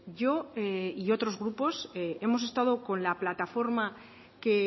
yo y otros grupos hemos estado con la plataforma que